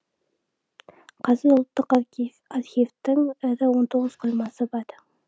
қазір ұлттық архивтің ірі он тоғыз қоймасы бар